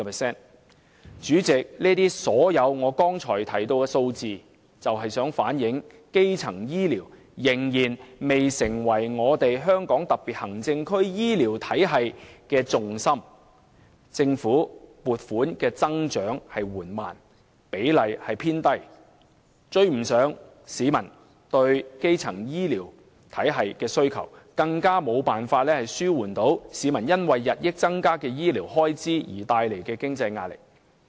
主席，我剛才列舉多項數字，目的是想說明一個事實：基層醫療仍然未成為香港特別行政區醫療體系的重心，政府增加撥款的速度緩慢，佔總額的比例偏低，未能追上市民對基層醫療服務的需求，更無法紓緩日益增加的醫療開支為市民帶來的經濟壓力。